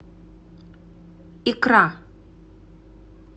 икра